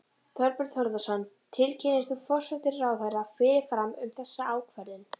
Þorbjörn Þórðarson: Tilkynntir þú forsætisráðherra fyrirfram um þessa ákvörðun?